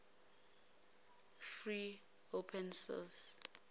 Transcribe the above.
free open source